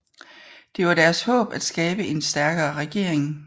Det var deres håb at skabe en stærkere regering